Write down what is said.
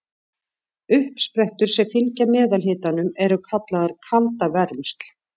Uppsprettur sem fylgja meðalhitanum eru kallaðar kaldavermsl.